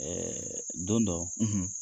don dɔ